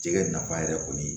Jɛgɛ nafa yɛrɛ kɔni